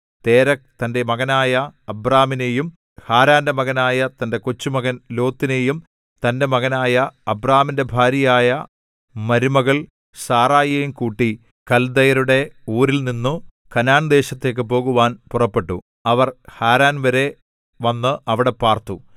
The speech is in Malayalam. തേരഹ് തന്റെ മകനായ അബ്രാമിനെയും ഹാരാന്റെ മകനായ തന്റെ കൊച്ചുമകൻ ലോത്തിനെയും തന്റെ മകനായ അബ്രാമിന്റെ ഭാര്യയായ മരുമകൾ സാറായിയെയും കൂട്ടി കൽദയരുടെ ഊരിൽനിന്നു കനാൻദേശത്തേക്കു പോകുവാൻ പുറപ്പെട്ടു അവർ ഹാരാൻ വരെ വന്ന് അവിടെ പാർത്തു